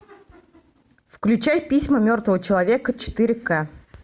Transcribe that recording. включай письма мертвого человека четыре ка